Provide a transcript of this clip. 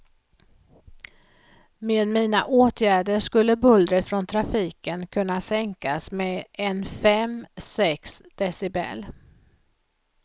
Med mina åtgärder skulle bullret från trafiken kunna sänkas med en fem, sex decibel.